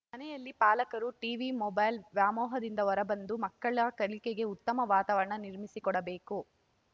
ಮನೆಯಲ್ಲಿ ಪಾಲಕರು TV mobile ವ್ಯಾಮೋಹದಿಂದ ಹೊರಬಂದು ಮಕ್ಕಳ ಕಲಿಕೆಗೆ ಉತ್ತಮ ವಾತಾವರಣ ನಿರ್ಮಿಸಿಕೊಡಬೇಕು